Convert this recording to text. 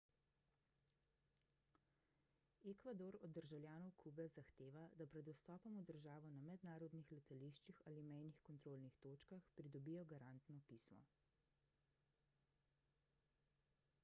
ekvador od državljanov kube zahteva da pred vstopom v državo na mednarodnih letališčih ali mejnih kontrolnih točkah pridobijo garantno pismo